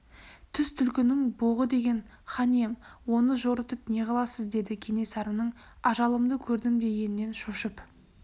түс түлкінің боғы деген хан ием оны жорытып не қыласыз деді кенесарының ажалымды көрдім дегенінен шошып